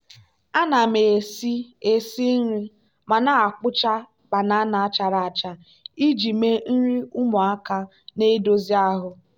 ana m esi esi nri ma na-akpụcha banana chara acha iji mee nri ụmụaka na-edozi ahụ.